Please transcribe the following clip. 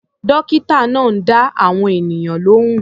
Dọ́kítà náà ń dá àwọn ènìyàn lóhùn.